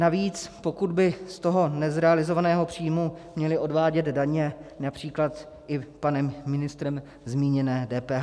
Navíc, pokud by z toho nezrealizovaného příjmu měli odvádět daně, například i panem ministrem zmíněné DPH.